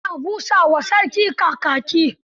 Ana busa wa sarki kakaki.